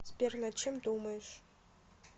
сбер над чем думаешь